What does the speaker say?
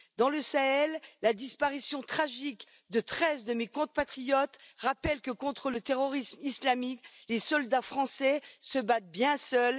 Dans le Sahel, la disparition tragique de treize de mes compatriotes rappelle que, contre le terrorisme islamique, les soldats français se battent bien seuls.